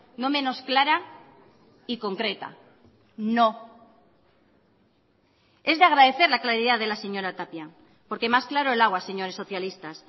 no menos clara y concreta no es de agradecer la claridad de la señora tapia porque más claro el agua señores socialistas